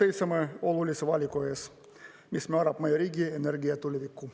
Täna seisame olulise valiku ees, mis määrab meie riigi energia tuleviku.